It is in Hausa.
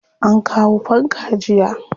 An kawo fanka jiya.